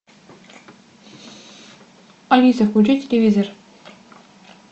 алиса включи телевизор